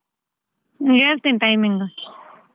ಹೇಳ್ತೀನಿ timing .